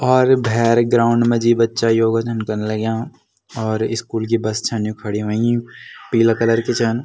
और भैर ग्राउंड मा जी बच्चा योगा छन कन लग्याँ और स्कूल की बस छन यु खड़ीं हुईं पीला कलर की छन।